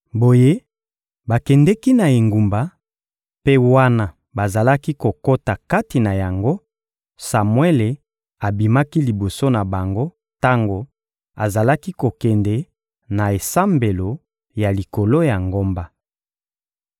Boye bakendeki na engumba; mpe wana bazalaki kokota kati na yango, Samuele abimaki liboso na bango tango azalaki kokende na esambelo ya likolo ya ngomba.